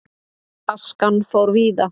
Askan fór víða.